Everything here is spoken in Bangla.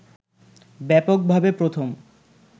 ব্যাপকভাবে প্রথম